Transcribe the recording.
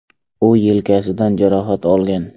U yelkasidan jarohat olgan.